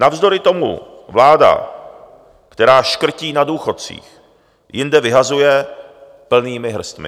Navzdory tomu vláda, která škrtí na důchodcích, jinde vyhazuje plnými hrstmi.